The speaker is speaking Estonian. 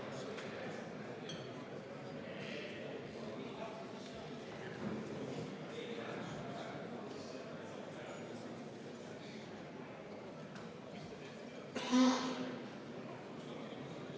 Mina loen päevakorrast, et meil oli siin minister Signe Riisalo, ja ma ka nägin siin saalis minister Signe Riisalot.